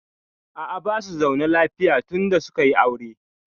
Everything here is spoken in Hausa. A'a, basu zaune lafiya tun da suka yi aure.